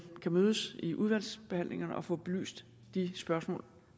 kan mødes i udvalgsforhandlingerne og få belyst de spørgsmål